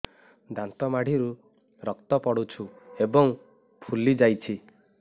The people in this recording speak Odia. ଦାନ୍ତ ମାଢ଼ିରୁ ରକ୍ତ ପଡୁଛୁ ଏବଂ ଫୁଲି ଯାଇଛି